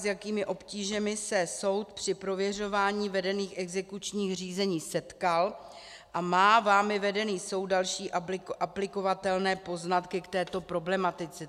S jakými obtížemi se soud při prověřování vedených exekučních řízení setkal a má vámi vedený soud další aplikovatelné poznatky k této problematice?